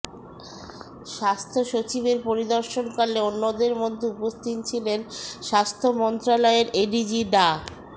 স্বাস্থ্যসচিবের পরিদর্শনকালে অন্যদের মধ্যে উপস্থিত ছিলেন স্বাস্থ্য মন্ত্রণালয়ের এডিজি ডা